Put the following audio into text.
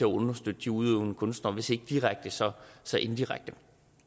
understøtte de udøvende kunstnere hvis ikke direkte så så indirekte